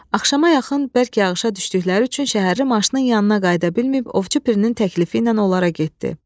Axşama yaxın bərk yağışa düşdükləri üçün şəhərli naşıının yanına qayıda bilməyib Ovçu Pirinin təklifi ilə olara getdi.